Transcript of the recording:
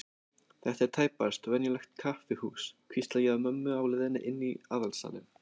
Þetta er tæpast venjulegt kaffihús, hvísla ég að mömmu á leiðinni inn í aðalsalinn.